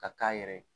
Ka k'a yɛrɛ ye